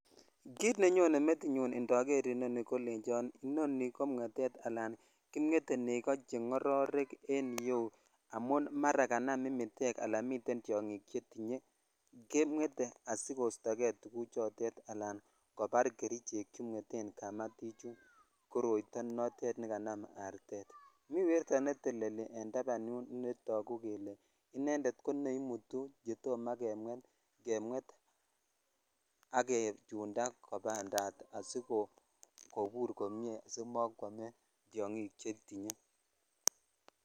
Kit nenyone metinyun indoor nii kolechon inoni komwetet ala kimwetee negoo che ngororek en iyeu amun mara kanam imitek al miten tyongik che tinyee kemwete asikosto kei tuguchoton ala kobar kerichek chu mweten kamatishechu koroito notet nekanam artet mi werto netelelien tapan yu ne monguu ale indeed ko neimutu chetom kemwet kemwet ak kichunda kobendat asikobur komye asimokwome tyongik che tiny.